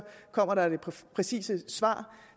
kommer det præcise svar